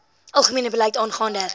algemene beleid aangaande